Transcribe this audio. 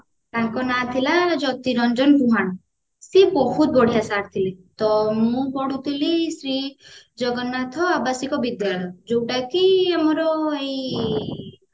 ତାଙ୍କ ନାଁ ଥିଲା ଜ୍ୟୋତି ରଞ୍ଜନ ସେ ବହୁତ ବଢିଆ sir ଥିଲେ ତ ମୁଁ ପଢୁଥିଲି ଶ୍ରୀ ଜଗନ୍ନାଥ ଆବାଶିକ ବିଦ୍ୟାଳୟ ଯୋଉଟା କି ଆମର ଏଇ